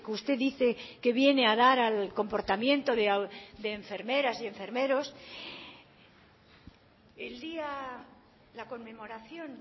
usted dice que viene a dar al comportamiento de enfermeras y enfermeros el día la conmemoración